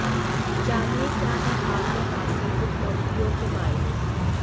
जानिए क्या हैं हाल में हासिल उपलब्धियों के मायने